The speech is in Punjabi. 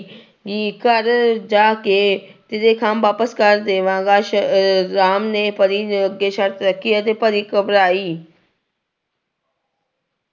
ਗੀ ਘਰ ਜਾ ਕੇ ਤੇਰੇ ਖੰਭ ਵਾਪਸ ਕਰ ਦੇਵਾਂਗਾ ਸ ਅਹ ਰਾਮ ਨੇ ਪਰੀ ਅੱਗੇ ਸਰਤ ਰੱਖੀ ਅਤੇ ਪਰੀ ਘਬਰਾਈ।